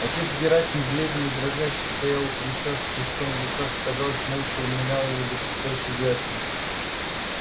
отец герасим бледный и дрожащий стоял у крыльца с крестом в руках и казалось молча умилял его за предстоящие жертвы